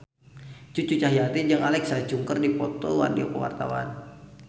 Cucu Cahyati jeung Alexa Chung keur dipoto ku wartawan